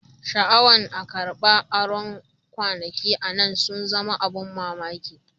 Shaawan a karban aro kwanakin nan sun zama abun mamaki.